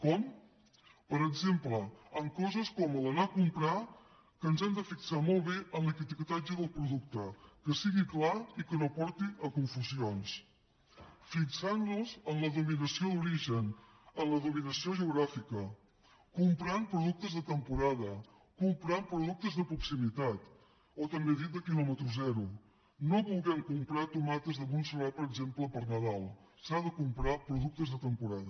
com per exemple amb coses com anar a comprar que ens hem de fixar molt bé en l’etiquetatge del producte que sigui clar i que no porti a confusions fixant nos en la denominació d’origen en la denominació geogràfica comprant productes de temporada comprant productes de proximitat o també dits de quilòmetre zero no volent comprar tomates de montserrat per exemple per nadal s’han de comprar productes de temporada